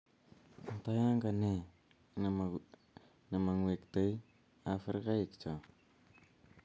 anta yaaka ne mang'wektei Afrikaik cho